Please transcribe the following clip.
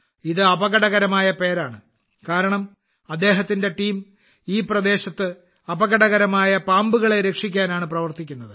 ഇത് അപകടകരമായ പേരാണ് കാരണം അദ്ദേഹത്തിന്റെ ടീം ഈ പ്രദേശത്ത് അപകടകരമായ പാമ്പുകളെ രക്ഷിക്കാനാണ് പ്രവർത്തിക്കുന്നത്